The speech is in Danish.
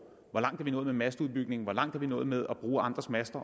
hvor langt er vi nået med masteudbygningen hvor langt er vi nået med at bruge andres master